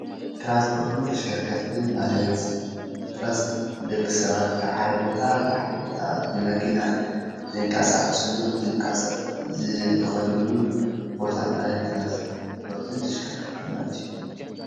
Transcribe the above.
ትራንስፖርትን ተሽከርከርትን ማለት ትራንስ ደቂ ሰባት ካብ ሓደ ቦታ ላብ ካሊእ ቦታ ብመኪና ዝቀሳቀስሉን ዝንቀሳ ዝከድሉን ቦታ ማለት ትራንስፖርት ተሽከርከርትን ማለት እዩ፡፡